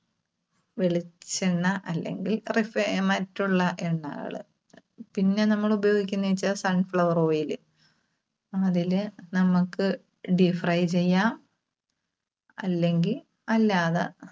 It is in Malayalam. വെളിച്ചെണ്ണ അല്ലെങ്കിൽ refined മറ്റുള്ള എണ്ണകള്. പിന്നെ നമ്മള് ഉപയോഗിക്കുന്നേവെച്ചാൽ sunflower oil ല്. അതില് നമ്മുക്ക് deepfry ചെയ്യാം. അല്ലെങ്കിൽ അല്ലാതെ